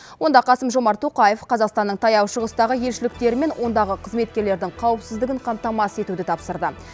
онда қасым жомарт тоқаев қазақстанның таяу шығыстағы елшіліктері мен ондағы қызметкерлердің қауіпсіздігін қамтамасыз етуді тапсырды